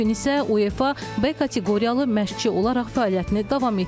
Bu gün isə UEFA B kateqoriyalı məşqçi olaraq fəaliyyətini davam etdirir.